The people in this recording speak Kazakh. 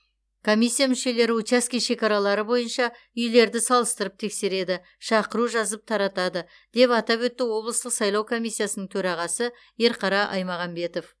комиссия мүшелері учаске шекаралары бойынша үйлерді салыстырып тексереді шақыру жазып таратады деп атап өтті облыстық сайлау комиссиясының төрағасы ерқара аймағамбетов